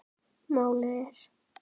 Málið er